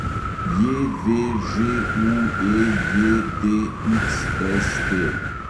JVŽUEJDXST